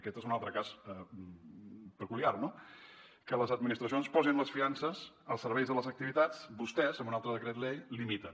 aquest és un altre cas peculiar no que les administracions posin les fiances als serveis de les activitats vostès amb un altre decret llei limiten